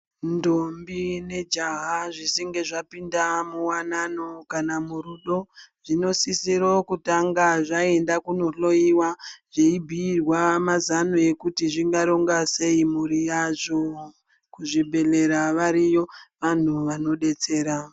Ndombi nejaha zvichinge zvapinda muwanano kana murudo zvinosisirwa kutanga zvaenda kundohloiwa zveibhirwa mazano ekuti zvingaronga sei mhuri yazvo kuzvibhedhlera variyo vanhu vanodetsera.